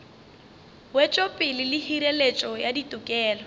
wetšopele le hireletšo ya ditokelo